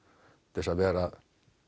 til að vera